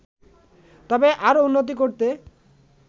তবে আরও উন্নতি করতে